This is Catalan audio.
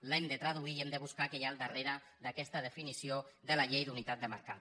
l’hem de traduir i hem de buscar què hi ha al darrere d’aquesta definició de la llei d’unitat de mercat